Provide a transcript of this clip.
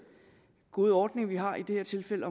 gode ordning vi har i det her tilfælde